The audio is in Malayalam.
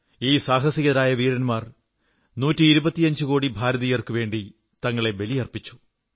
ഈ സാഹസികരായ വീരന്മാർ നൂറ്റിയിരുപത്തിയഞ്ചുകോടി ഭാരതീയർക്കുവേണ്ടി തങ്ങളെ ബലിയർപ്പിച്ചു